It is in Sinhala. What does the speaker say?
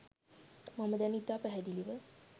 මම දැන් ඉතා පැහැදිලිව